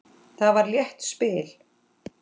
Það var létt spil.